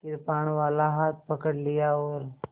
कृपाणवाला हाथ पकड़ लिया और